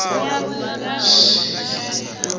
tshidzini